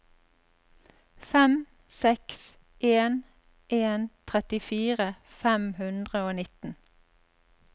fem seks en en trettifire fem hundre og nitten